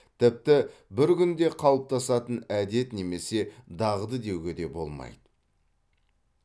тіпті бір күнде қалыптасатын әдет немесе дағды деуге де болмайды